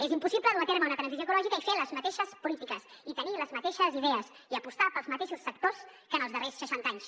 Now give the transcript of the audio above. és impossible dur a terme una transició ecològica i fer les mateixes polítiques i tenir les mateixes idees i apostar pels mateixos sectors que en els darrers seixanta anys